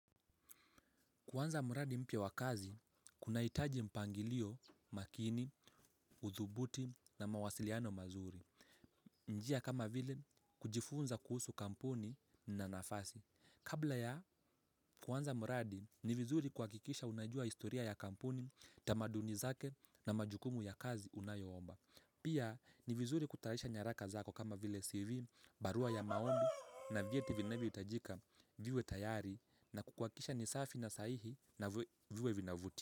Kanza mradi mpya wa kazi, kunahitaji mpangilio, makini, uthubuti na mawasiliano mazuri. Njia kama vile, kujifunza kuhusu kampuni na nafasi. Kabla ya kuanza mradi, ni vizuri kuhakikisha unajua historia ya kampuni, tamaduni zake na majukumu ya kazi unayo omba. Pia ni vizuri kutayarisha nyaraka zako kama vile CV, barua ya maombi na vieti vinavyohitajika viwe tayari na kuhakikisha ni safi na sahihi na viwe vinavuti.